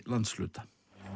landshluta